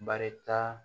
Barita